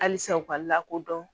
Halisa u ka lakodɔn